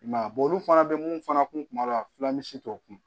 I m'a ye olu fana be mun fana kun b'a la fila ni misi t'o kun